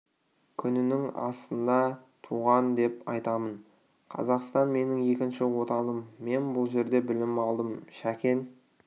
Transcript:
күнінің астында туған деп айтамын қазақстан менің екінші отаным мен бұл жерде білім алдым шәкен